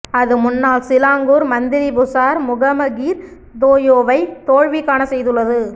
அது முன்னாள் Selangor Menteri Besar முகம கிர் தோயோவை தோல்வி காணச் செய்துள்ளது